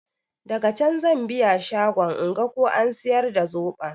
Daga can zan biya shagon inga ko an siyar da zoɓon.